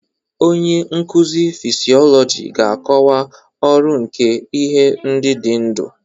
Onye nkuzi fịsiolojị ga-akọwa ọrụ nke ihe ndị dị ndụ.